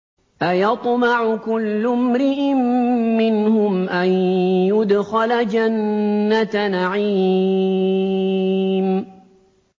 أَيَطْمَعُ كُلُّ امْرِئٍ مِّنْهُمْ أَن يُدْخَلَ جَنَّةَ نَعِيمٍ